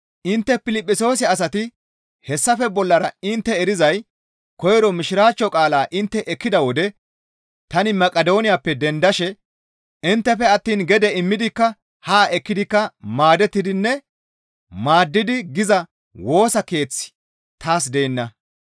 Intte Piliphisiyoose asati hessafe bollara intte erizay koyro Mishiraachcho qaalaa intte ekkida wode tani Maqidooniyappe dendashe inttefe attiin gede immidikka haa ekkidikka maadettidinne maaddidi giza Woosa Keeththi taas deenna.